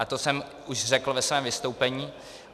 A to jsem už řekl ve svém vystoupení.